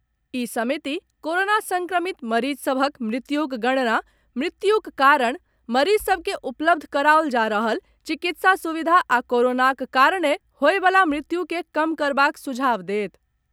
ई समिति कोरोना संक्रमित मरीज सभक मृत्युक गणना, मृत्युक कारण, मरीज सभ के उपलब्ध कराओल जा रहल चिकित्सा सुविधा आ कोरोनाक कारणे होबयवला मृत्यु के कम करबाक सुझाव देत।